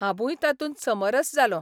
हांबूय तातूंत समरस जालों.